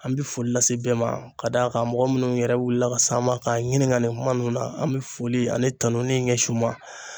An bɛ foli lase bɛɛ ma ,ka d'a kan mɔgɔ minnu yɛrɛ wulila ka s'an ma k'an ɲininka nin kuma ninnu na ,an bɛ foli ani tanuni ɲɛsin u ma.